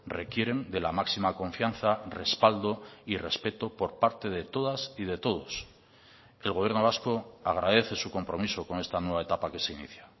requieren de la máxima confianza respaldo y respeto por parte de todas y de todos el gobierno vasco agradece su compromiso con esta nueva etapa que se inicia